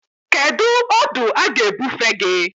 Kedu ọdụ a ga-ebufe gị?